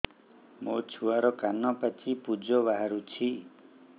ମୋ ଛୁଆର କାନ ପାଚି ପୁଜ ବାହାରୁଛି